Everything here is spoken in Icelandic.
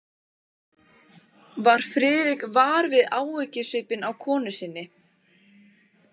Varð Friðrik var við áhyggjusvipinn á konu sinni?